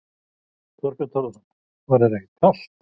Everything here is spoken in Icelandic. Þorbjörn Þórðarson: Var þér ekkert kalt?